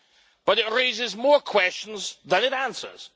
But it raises more questions than it answers.